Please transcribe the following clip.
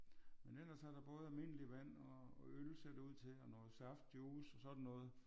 Men ellers er der både almindelig vand og og øl ser det ud til og noget saft juice og sådan